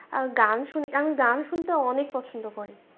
আর গান শুনি আমি গান শুনতে অনেক পছন্দ করি।